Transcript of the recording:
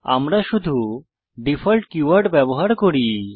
আমরা শুধু default keyword ব্যবহার করি